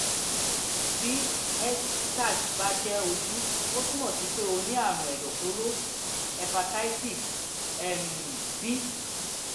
bí hbsag bá jẹ ojú ó túmọ̀ sí pé o ní àrùn ẹ̀dọ̀fóró hepatitis um b